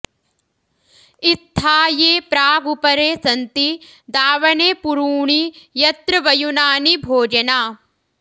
इत्था ये प्रागुपरे सन्ति दावने पुरूणि यत्र वयुनानि भोजना